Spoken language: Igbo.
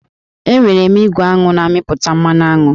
Enwere m igwe aṅụ na-amịpụta mmanụ aṅụ